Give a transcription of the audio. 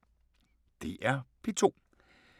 DR P2